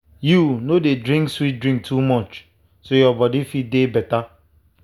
you no dey drink sweet drink too much so your body fit dey better.